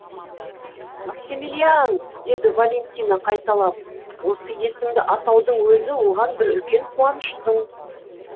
максимилиан деді валентина қайталап осы есімді атаудың өзі оған бір үлкен қуаныш тын